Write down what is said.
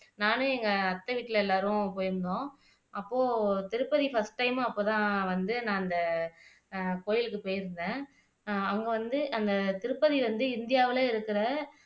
நானும் எங்க அத்தை வீட்ல எல்லாரும் போயிருந்தோம் அப்போ திருப்பதி ஃபர்ஸ்ட் டைம் அப்போ தான் வந்து நான் அந்த கோயிலுக்கு போயிருந்தேன் அஹ் அங்க வந்து அந்த திருப்பதி வந்து இந்தியாவுல இருக்குற